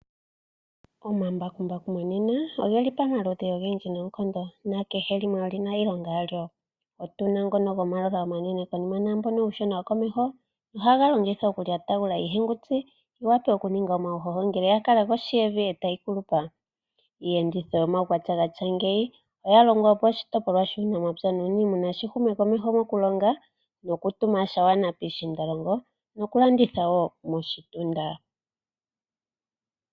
Omambakumbaku monena ogeli pamaludhi ogendji noonkondo nakehe limwe oli na iilonga yalyo. Otu na ngono gomatayiyela omanene konima naambono uushona wokomeho ohaga longithwa okulyatagula iihenguti yi wape okuninga omauhoho ngele ya kala kohi yevi e tayi kulupa. Iiyenditho yomaukwatya ga tya ngeyi oya longwa, opo oshitopolwa shuunamapya nuuniimuna shi hume komeho mokulonga nokutuma sha gwana piishiindalongo nokulanditha wo moshitunda.